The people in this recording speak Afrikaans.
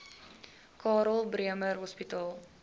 karl bremer hospitaal